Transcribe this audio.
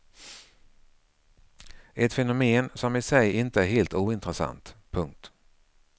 Ett fenomen som i sig inte är helt ointressant. punkt